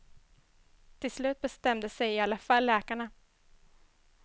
Till slut bestämde sig i alla fall läkarna.